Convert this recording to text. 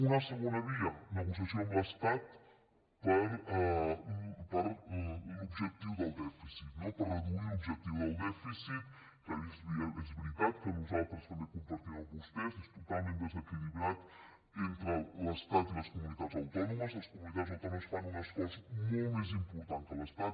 una segona via negociació amb l’estat per reduir l’objectiu del dèficit que és veritat que nosaltres també ho compartim amb vostès és totalment desequilibrat entre l’estat i les comunitats autònomes les comunitats autònomes fan un esforç molt més important que l’estat